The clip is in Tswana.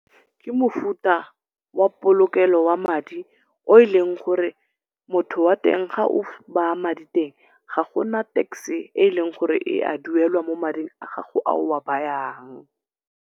Ke mofuta wa polokelo wa madi o eleng gore motho wateng ga o baa madi teng, ga gona tax-e e leng gore ya duelwa mo mading a gago a o a bayang.